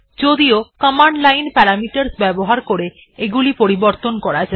যদিও command line parameters ব্যবহার করে এগুলি পরিবর্তন করা যায়